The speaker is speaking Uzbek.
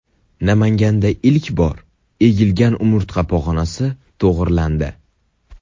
Namanganda ilk bor egilgan umurtqa pog‘onasi to‘g‘rilandi.